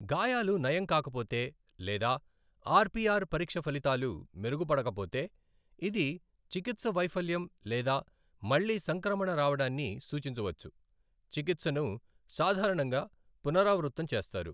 గాయాలు నయం కాకపోతే, లేదా ఆర్పిఆర్ పరీక్ష ఫలితాలు మెరుగుపడకపోతే, ఇది చికిత్స వైఫల్యం లేదా మళ్ళీ సంక్రమణ రావడాన్ని సూచించవచ్చు, చికిత్సను సాధారణంగా పునరావృతం చేస్తారు.